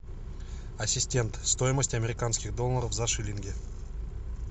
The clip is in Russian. ассистент стоимость американских долларов за шиллинги